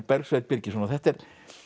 Bergsveinn Birgisson þetta er